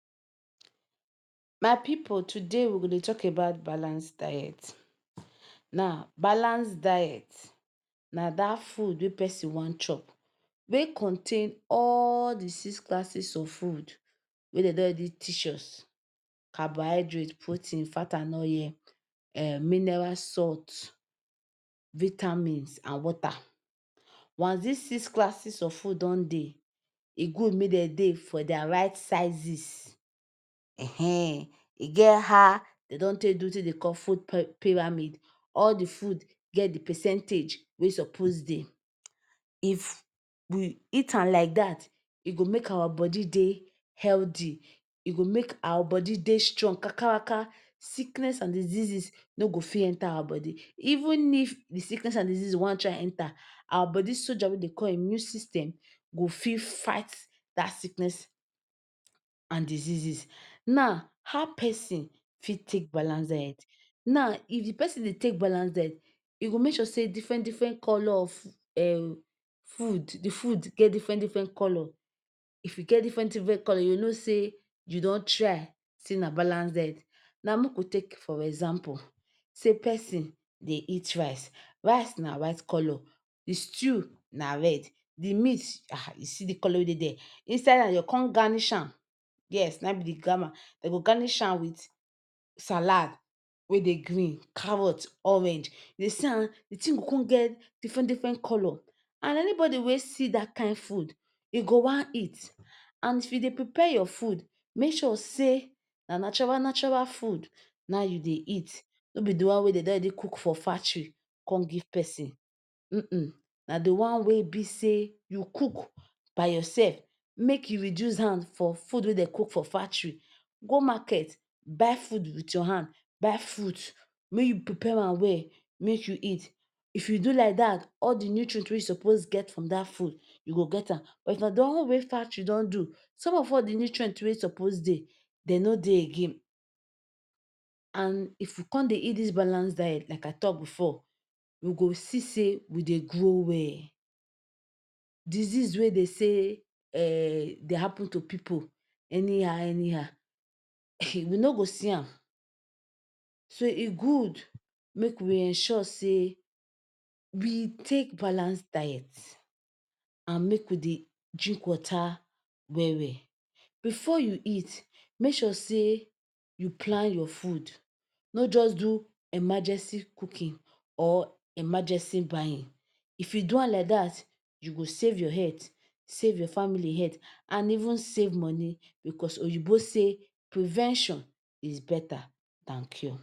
My pipu una well done oh today I go like talk on antibiotics, how antibiotics be better medicine wey dey use dey treat bacterial infection for dis our age and time. Antibiotics na medicine wey be say pharmacy dem don produce take fight bacterial infection wey dey cause sickness and way dis medicine take dey fight bacteria be sey e go either kill de bacteria or e go stop de bacteria make e nor dey multiply again and if e kill am or stop am make e nor multiply e go come make de body soldier wey dem dey call immune system fit fight back and then de person e fit get well. Now e get different different type of antibiotics, na make am person nor go just go, go say e wan do wetin dem dey call self-prescription[um] you nor go just go carry buy medicine by yourself take because e get different different type and this different different type get different different bacteria wey e dey kill. Now, each of dem come still get how dem dey kill am na be de thing for inside wey we dey make sure say pipu nor dey do self prescription. And Some of de type of antibiotics wey dey na pecillin, cyphaloxivin phlocomon dey many for market so you must know de kind bacteria wey dey worry de person for you to know de kind antibiotics wey dem go use take fight am. And as years don dey years don dey go pipu don dey get many many knowledge for all dis things many many type wey dem don dey produce dey come e good make e be sey person go get better advice know de one wey you go take because dis medicine e don save many many lives pipu don use am treat pneumonia, tuberculosis and many many other sickness wey be say an bacteria dey cause am but as pipu come dey use their hand dey take even take am pass de one wey doctor say make dem take am or nor even take reach de one wey doctor say make dem take am na wetin go come lead to wetin dey dey call drug abuse, and when come do drug abuse e dey lead to wetin pipu wey dey for dey for medicine dey say na antibiotics resistance and you see dis thing e nor good at all because when dat bacteria don come sabi de medicine wey you dey take dat medicine, dat medicine when you take am nor go work again. You come need to go carry bigger one for dat antibiotics make you use take treat am. What of if person don abuse am, abuse, abuse am no bigger one come dey, so we dey tell our pipu for house make dem sure dem go meet better doctor wey go give dem medicine and make take am as doctor take write make dem take am, if dem take am like dat e nor go lead to antibiotics resistance de person go dey well. And even pipu wey dey produce am dey themselves nor go stress to say dem wan dey look for higher higher one to do so make ensure say we nor do self medication as dem dey call am sey we go carry buy medicine wey doctor nor say make we take.